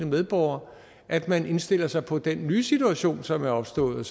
medborgere at man indstiller sig på den nye situation som er opstået